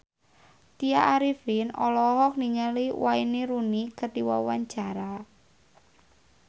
Tya Arifin olohok ningali Wayne Rooney keur diwawancara